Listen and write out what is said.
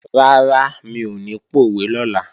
Rárá, mi ò ní pòwe lọ́la